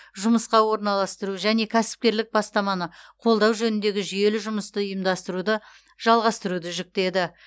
жұмысқа орналастыру және кәсіпкерлік бастаманы қолдау жөніндегі жүйелі жұмысты ұйымдастыруды жалғастыруды жүктеді